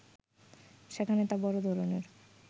সেখানে তা বড় ধরনের